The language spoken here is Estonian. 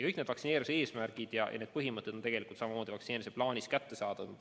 Kõik vaktsineerimise eesmärgid ja need põhimõtted on samamoodi vaktsineerimise plaanis kättesaadavad.